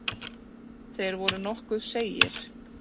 Þeir voru nokkuð seigir.